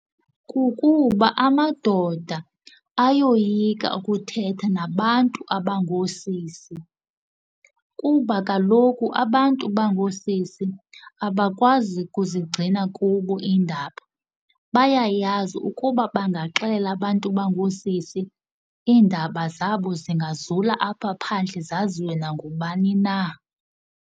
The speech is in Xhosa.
Kukuba amadoda ayoyika ukuthetha nabantu abangoosisi, kuba kaloku abantu bangoosisi abakwazi kuzigcina kubo iindaba. Bayayazi ukuba bangaxelela abantu abangoosisi iindaba zabo zingazula apha phandle zaziwe nangubani na.